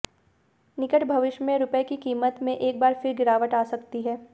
निकट भविष्य में रुपये की कीमत में एक बार फिर गिरावट आ सकती है